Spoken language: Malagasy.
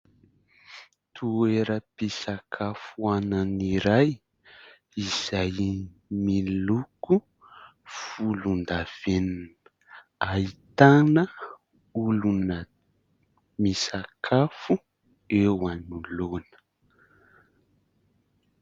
Toeram-pisakafoanana iray izay miloko volondavenona. Ahitana olona misakafo eo anoloana.